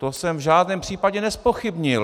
To jsem v žádném případě nezpochybnil.